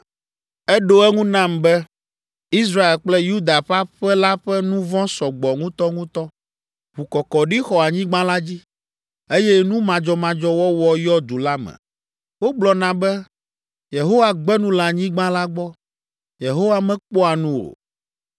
Eɖo eŋu nam be, “Israel kple Yuda ƒe aƒe la ƒe nu vɔ̃ sɔ gbɔ ŋutɔŋutɔ, ʋukɔkɔɖi xɔ anyigba la dzi, eye nu madzɔmadzɔ wɔwɔ yɔ du la me. Wogblɔna be, ‘Yehowa gbe nu le anyigba la gbɔ. Yehowa mekpɔa nu o.’